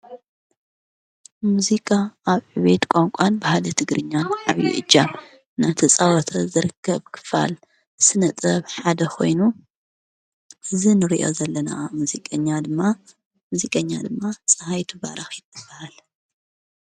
ሙዚቃ ኣብ ቤት ቛንቋን ባህሊ ትግርኛን ዓብዪ እጃም ናተፃወተ ዘርከብ ክፋል ስነጥበብ ሓደ ኾይኑ ዝንርዮ ዘለና ሙዚቀኛ ድማ ሙዚቀኛ ድማ ፀሓይቱ ባራኪ ትበሃል::